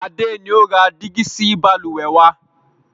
Adé ni ó ra dígí sì Balùwẹ́ wàá.